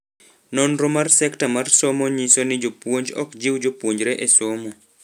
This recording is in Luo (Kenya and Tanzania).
Nonro mar sekta mar somo nyiso ni jopuonj ok jiw jopuonjre e somo.